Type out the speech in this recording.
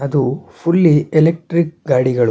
ಅದು fully electric ಗಾಡಿಗಳು.